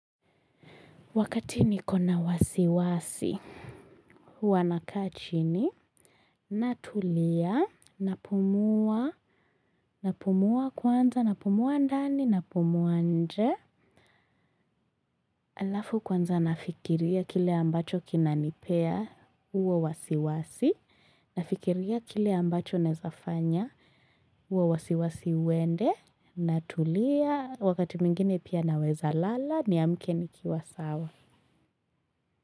Wakati niko na wasiwasi, huwa nakaa chini, natulia, napumua, napumua kwanza, napumua ndani, napumua nje. Alafu kwanza nafikiria kile ambacho kinanipea huo wasiwasi, nafikiria kile ambacho naezafanya huo wasiwasi uende, natulia, wakati mwingine pia naweza lala niamke nikiwa sawa.